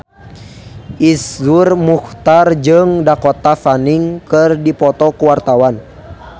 Iszur Muchtar jeung Dakota Fanning keur dipoto ku wartawan